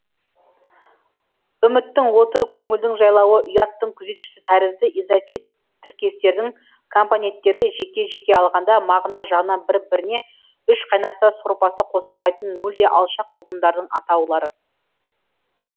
үміттің оты көңілдің жайлауы ұяттың күзетшісі тәрізді изафет тіркестердің компоненттері жеке жеке алғанда мағына жағынан бір біріне үш қайнаса сорпасы қосылмайтын мүлде алшақ ұғымдардың атаулары